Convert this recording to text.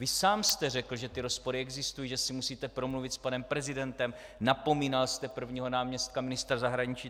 Vy sám jste řekl, že ty rozpory existují, že si musíte promluvit s panem prezidentem, napomínal jste prvního náměstka ministra zahraničí.